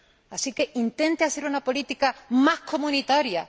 Así que intente hacer una política más comunitaria